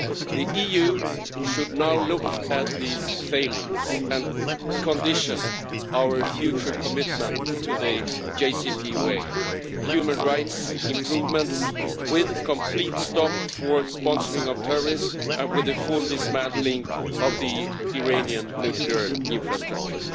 The EU should now look at these failings and condition our future commitment to the JCPOA on human rights improvements, a complete stop to the sponsoring of terrorists, and the full dismantling of the Iranian nuclear infrastructure.